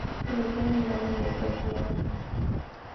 людмиле ивановне евдокимовой